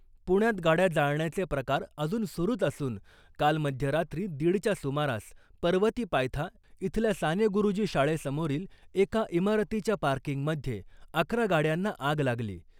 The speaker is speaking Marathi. पुण्यात गाड्या जाळण्याचे प्रकार अजून सुरूच असून , काल मध्यरात्री दीडच्या सुमारास पर्वती पायथा इथल्या सानेगुरुजी शाळेसमोरील एका इमारतीच्या पार्किंगमधे अकरा गाड्यांना आग लागली .